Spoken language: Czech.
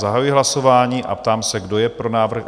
Zahajuji hlasování a ptám se, kdo je pro návrh?